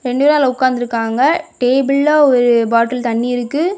ரெண்டு பேர் அதுல உட்கார்ந்து இருக்காங்க டேபிள்ல ஒரு பாட்டில் தண்ணீ இருக்கு.